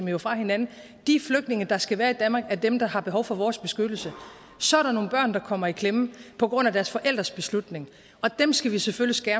jo fra hinanden de flygtninge der skal være i danmark er dem der har behov for vores beskyttelse så er der nogle børn der kommer i klemme på grund af deres forældres beslutning og dem skal vi selvfølgelig